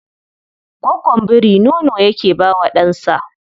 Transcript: Gwaggon biri nono yake ba wa ɗansa